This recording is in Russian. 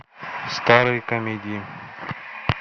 старые комедии